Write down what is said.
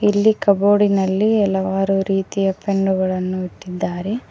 ಇಲ್ಲಿ ಕಬೋರ್ಡಿನಲ್ಲಿ ಹಲವಾರು ರೀತಿಯ ಪೆನ್ನು ಗಳನ್ನು ಇಟ್ಟಿದ್ದಾರೆ.